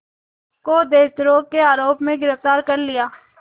को देशद्रोह के आरोप में गिरफ़्तार कर लिया